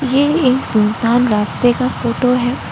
ये एक सुनसान रास्ते का फोटो है।